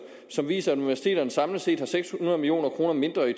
som viser at universiteterne samlet set har seks hundrede million kroner mindre i